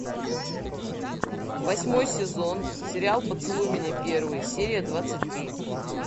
восьмой сезон сериал поцелуй меня первый серия двадцать три